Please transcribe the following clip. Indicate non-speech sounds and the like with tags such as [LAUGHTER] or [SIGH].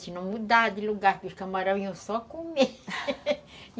Se não mudar de lugar, porque os camarões iam só comer [LAUGHS]